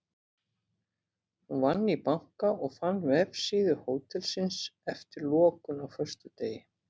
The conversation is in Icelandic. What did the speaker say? Hún vann í banka og fann vefsíðu hótelsins eftir lokun á föstudegi.